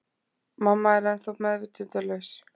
Mamma er ennþá meðvitundarlaus.